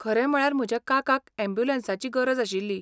खरें म्हळ्यार म्हज्या काकाक यॅम्ब्युलंसाची गरज आशिल्ली.